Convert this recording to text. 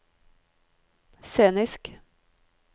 scenisk